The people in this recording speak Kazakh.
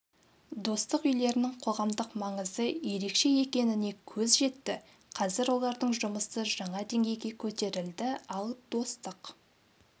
достық үйлерінің қоғамдық маңызы ерекше екеніне көз жетті қазір олардың жұмысы жаңа деңгейге көтерілді ал достық